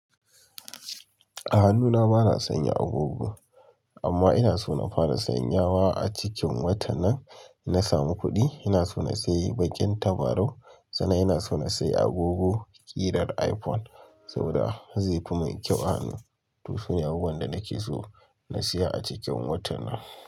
A hannuna bana sanya agogo amma ina so na fara sanyawa a cikin watan nan na samu kuɗi ina so na sayi bakin tabarau sannan ina so na sayi agogo ƙirar iPhone saboda zai kuma yin kyau a hannu. To su ne abubuwan da nake so na siya a cikin watan nan.